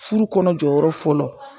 Furu kɔnɔ jɔyɔrɔ fɔlɔ